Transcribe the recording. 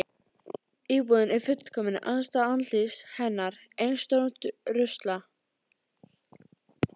Íbúðin er fullkomin andstæða andlits hennar: Ein stór rusla